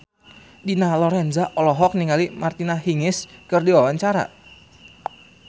Dina Lorenza olohok ningali Martina Hingis keur diwawancara